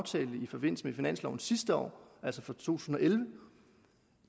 i forbindelse med finansloven sidste år altså for to tusind og elleve